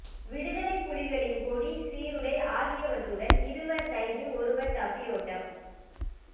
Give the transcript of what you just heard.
விடுதலைப்புலிகளின் கொடி சீருடை ஆகியவற்றுடன் இருவர் கைது ஒருவர் தப்பியோட்டம்